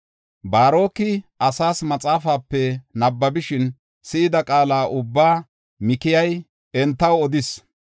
Baaroki asas maxaafape nabbabishin si7ida qaala ubbaa Mikayi entako odis.